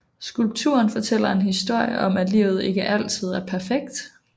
Skulpturen fortæller en historie om at livet ikke er altid er perfekt